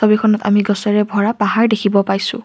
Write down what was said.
ছবিখনত আমি গছেৰে ভৰা পাহাৰ দেখিব পাইছোঁ।